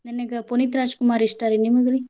ನನಗ್ ಪುನೀತ್ ರಾಜಕುಮಾರ್ ಇಷ್ಟ ರೀ. ನೀಮಗ್ರಿ?